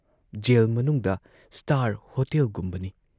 Gel ꯃꯅꯨꯡꯗ star ꯍꯣꯇꯦꯜꯒꯨꯝꯕꯅꯤ ꯫